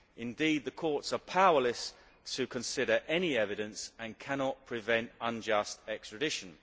Indeed, the courts are powerless to consider any evidence and cannot prevent unjust extradition.